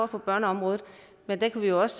på børneområdet men den kan vi jo også